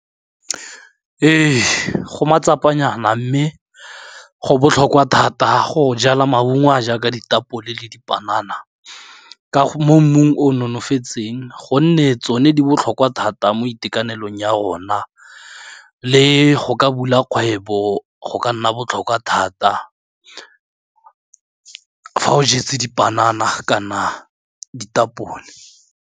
Ee, go matsapanyana mme go botlhokwa thata go jala maungo a jaaka ditapole le dipanana mo mmung o nonofe itseng gonne tsone di botlhokwa thata mo itekanelong ya rona, le go ka bula kgwebo go ka nna botlhokwa thata, fa o jetse dipanana kana ditapole.